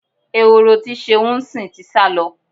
Ehoro tí Ṣeun ń sìn ti sá lọ.